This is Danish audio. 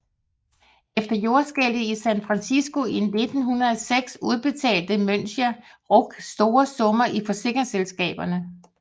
Efter jordskælvet i San Fransisco i 1906 udbetalte Münchener Rück store summer til forsikringsselskaberne